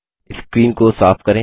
screen को साफ करें